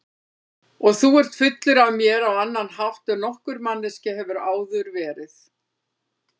Og þú ert fullur af mér á annan hátt en nokkur manneskja hefur áður verið.